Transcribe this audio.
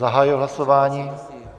Zahajuji hlasování.